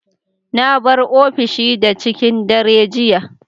Na bar ofishi da cikin dare jiya.